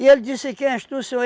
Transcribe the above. E ele disse, quem és tu, senhor?